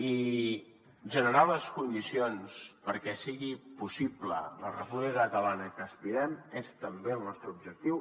i generar les condicions perquè sigui possible la república catalana a què aspirem és també el nostre objectiu